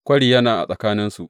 Kwari yana a tsakaninsu.